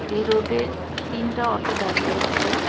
এ রোডে তিনটা অটো দাঁড়িয়ে আছে।